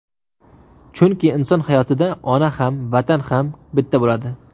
Chunki inson hayotida ona ham, Vatan ham bitta bo‘ladi.